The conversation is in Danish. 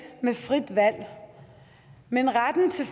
med frit valg men retten til